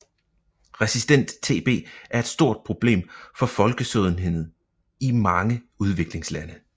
Resistent TB er et stort problem for folkesundheden i mange udviklingslande